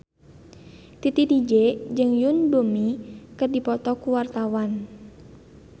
Titi DJ jeung Yoon Bomi keur dipoto ku wartawan